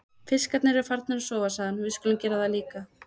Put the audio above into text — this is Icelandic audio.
Fiskarnir eru farnir að sofa, sagði hann, við skulum gera það líka.